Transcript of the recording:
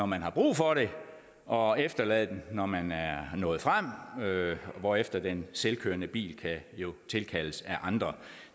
man har brug for det og efterlade den når man er nået frem hvorefter den selvkørende bil kan tilkaldes af andre